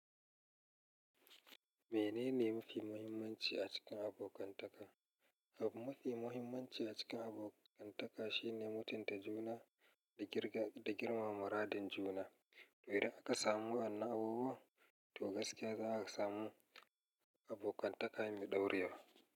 Menene mafi muhimmanci a cikin abokantaka? Abun mafi muhimmanci a cikin abokantaka shine mutunta juna da girmama radin juna. To idan ka samu wannan abubuwan, to gaskiya za a samu abokantaka mai ɗaurewa.